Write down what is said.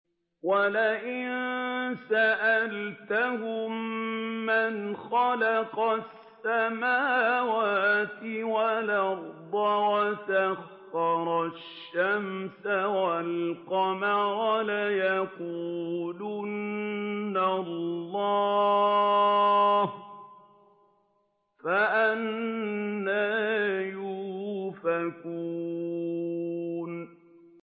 وَلَئِن سَأَلْتَهُم مَّنْ خَلَقَ السَّمَاوَاتِ وَالْأَرْضَ وَسَخَّرَ الشَّمْسَ وَالْقَمَرَ لَيَقُولُنَّ اللَّهُ ۖ فَأَنَّىٰ يُؤْفَكُونَ